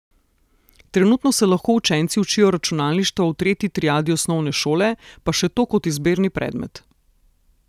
Trenutno se lahko učenci učijo računalništva v tretji triadi osnovne šole, pa še to kot izbirni predmet.